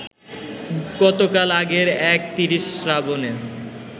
কতকাল আগের এক ৩০ শ্রাবণে